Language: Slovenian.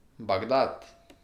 Bagdad!